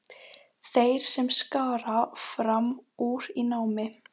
Þeir sem skara fram úr í námi.